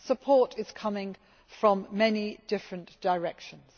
Support is coming from many different directions.